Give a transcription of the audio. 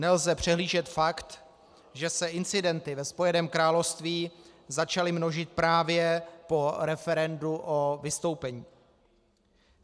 Nelze přehlížet fakt, že se incidenty ve Spojeném království začaly množit právě po referendu o vystoupení.